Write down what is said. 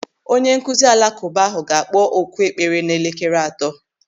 Onyenkụzi alakụba ahụ ga-akpọ oku ekpere n'elekere atọ.